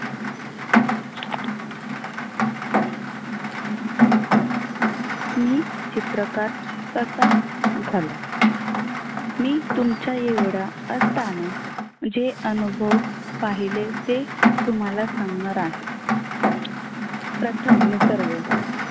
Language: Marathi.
मी चित्रकार कसा झालो. मी तुमच्या एवढा असताना जे अनुभव पाहिले तेच तुम्हाला सांगणार आहे. प्रथम निसर्ग